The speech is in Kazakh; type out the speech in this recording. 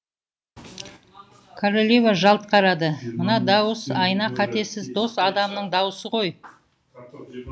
королева жалт қарады мына дауыс айна қатесіз дос адамның даусы ғой